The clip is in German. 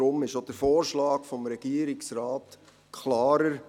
Daher ist der Vorschlag des Regierungsrates klarer.